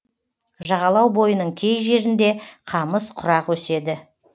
жағалау бойының кей жерінде қамыс құрақ өседі